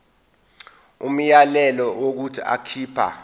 umyalelo wokuthi akhipha